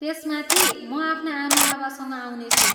त्यसमाथि, म आफ्ना आमाबाबासँग आउनेछु।